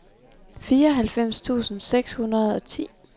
fireoghalvfems tusind seks hundrede og ti